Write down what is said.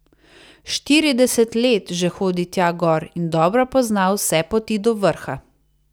Štirideset let že hodi tja gor in dobro pozna vse poti do vrha.